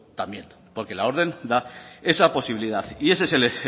también porque la orden da esa posibilidad y ese es el